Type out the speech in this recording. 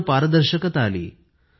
पूर्ण पारदर्शकता आली